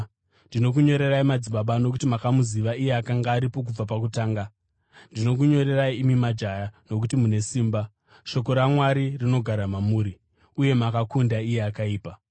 Ndinokunyorerai, madzibaba, nokuti makamuziva iye akanga aripo kubva pakutanga. Ndinokunyorerai, imi majaya, nokuti mune simba, shoko raMwari rinogara mamuri, uye makakunda iye akaipa.